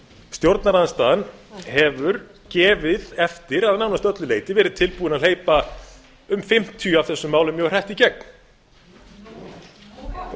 stjórnarandstaðan hefur gefið eftir að nánast öllu leyti verið tilbúin að hleypa um fimmtíu af þessum málum mjög hratt í gegn nú um